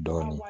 Dɔɔnin